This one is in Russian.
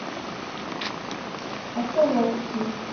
окуловки